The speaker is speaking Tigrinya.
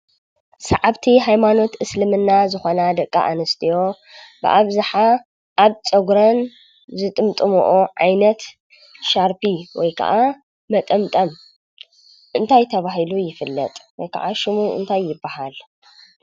ሰዓብቲ ሃይማኖት እስልምና ዝኾና ደቂ ኣንስትዮ ብኣብዝሓ ኣብ ፀጉረን ዝጥምጥምኦ ዓይነት ሻርቢ ወይ ከዓ መጠምጠም እንታይ ተባሂሉ ይፍለጥ ወይ ከዓ ሽሙ እንታይ ይበሃል?